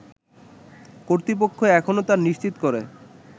কর্তৃপক্ষ এখনও তা নিশ্চিত করে